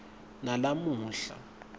nalamuhla